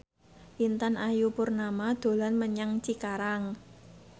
Intan Ayu Purnama dolan menyang Cikarang